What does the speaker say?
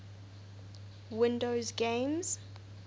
windows games